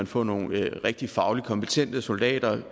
få nogle rigtig fagligt kompetente soldater